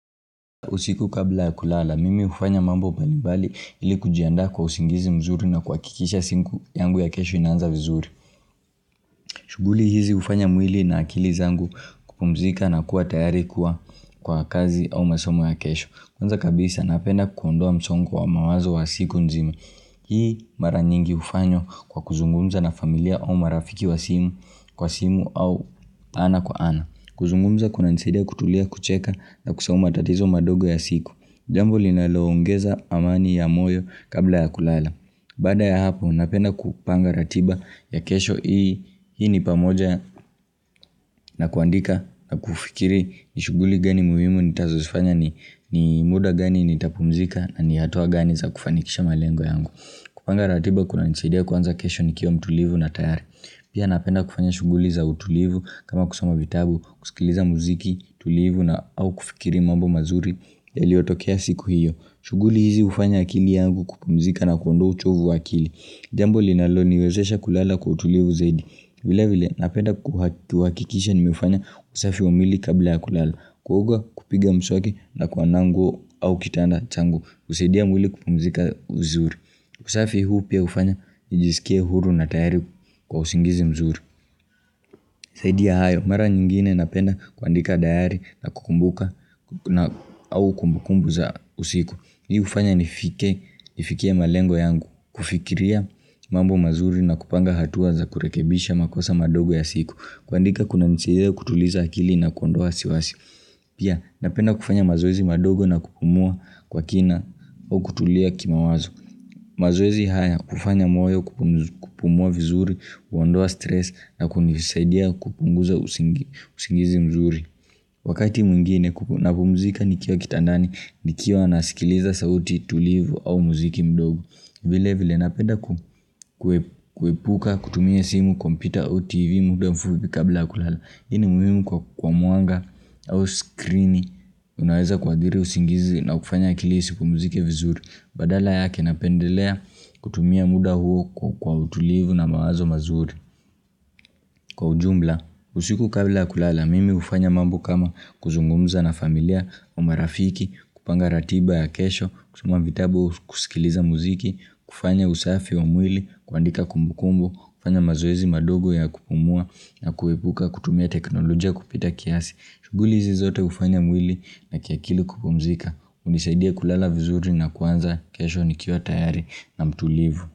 Usiku kabla ya kulala, mimi ufanya mambo mbalimbali ili kujiandaa kwa usingizi mzuri na kuhakikisha siku yangu ya kesho inaanza vizuri. Shughuli hizi ufanya mwili na akili zangu kupumzika na kuwa tayari kuwa kwa kazi au masomo ya kesho. Kwanza kabisa, napenda kuondoa msongo wa mawazo wa siku nzima Hii mara nyingi ufanywa kwa kuzungumza na familia au marafiki wa simu kwa simu au ana kwa ana. Kuzungumza kunanisidia kutulia kucheka na kusahau matatizo madogo ya siku. Jambo linaloongeza amani ya moyo kabla ya kulala Baada ya hapo napenda kupanga ratiba ya kesho hii ni pamoja na kuandika na kufikiri ni shughuli gani muhimu nitakazosifanya ni muda gani nitapumzika na ni hatua gani za kufanikisha malengo yangu kupanga ratiba kuna nisaidia kuanza kesho nikiwa mtulivu na tayari Pia napenda kufanya shughuli za utulivu kama kusoma vitabu kusikiliza muziki tulivu na au kufikiri mambo mazuri yaliyotokea siku hiyo shughuli hizi ufanya akili yangu kupumzika na kondoa uchovu akili Jambo linaloniwezesha kulala kwa utulivu zaidi vile vile napenda kuhakikisha nimefanya usafi wa mwili kabla ya kulala Kuoga kupiga mswaki na kuanua ngo au kitanda changu usaidia mwili kupumzika viuri usafi huu pia ufanya nijisikie huru na tayari kwa usingizi mzuri zaidi ya hayo mara nyingine napenda kuandika dayari na kukumbuka au kumbukumbu za usiku Hii ufanya nifikie malengo yangu, kufikiria mambo mazuri na kupanga hatua za kurekebisha makosa madogo ya siku, kuandika kuna nisidhe kutuliza akili na kuondoa wasiwasi. Pia napenda kufanya mazoezi madogo na kupumua kwa kina au kutulia kimawazo. Mazoezi haya kufanya mwloyo kupumua vizuri, uondoa stress na kunisaidia kupunguza usingizi mzuri Wakati mwingine napumuzika nikio kitandani nikio nasikiliza sauti tulivu au muziki mdogo vile vile napenda kuhepuka kutumie simu kompita o tv mude mfubi kabla kulala Ini muhimu kwa muanga au skrini unaweza kuhathiri usingizi na kufanya akili isipumuzike vizuri Badala yake napendelea kutumia muda huo kwa utulivu na mawazo mazuri. Kwa ujumbla, usiku kabla kulala, mimi ufanya mambo kama kuzungumza na familia, au marafiki, kupanga ratiba ya kesho, kusoma vitabo kusikiliza muziki, kufanya usafi wa mwili, kuandika kumbukumbu, kufanya mazoezi madogo ya kupumua na kuhepuka, kutumia teknolojia kupita kiasi. Shughuli hizi zote ufanya mwili na akili kupumzika unisaidia kulala vizuri na kuanza, kesho nikiwa tayari na mtulivu.